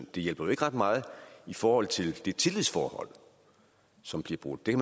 det hjælper jo ikke ret meget i forhold til det tillidsforhold som bliver brudt det